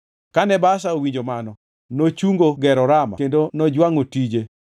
Kane Baasha owinjo mano, nochungo gero Rama kendo nojwangʼo tije.